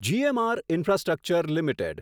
GMR infrastructure limited